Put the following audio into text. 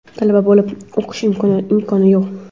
talaba bo‘lib o‘qish imkoni yo‘q;.